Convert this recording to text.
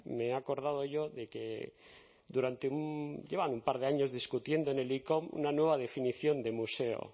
me he acordado yo de que durante un llevan un par de años discutiendo en el icom una nueva definición de museo